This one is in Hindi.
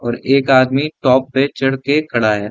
और एक आदमी टॉप पे चढ़ के खड़ा है।